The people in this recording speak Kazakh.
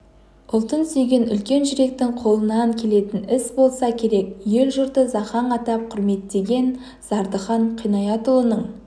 ұлтын сүйген үлкен жүректің қолынан келетін іс болса керек ел-жұрты зақаң атап құрметтеген зардыхан қинаятұлының